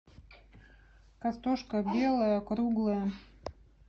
картошка белая круглая